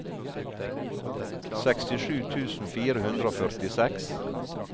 sekstisju tusen fire hundre og førtiseks